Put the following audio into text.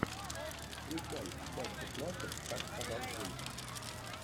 включай часть шестнадцать как сказал джим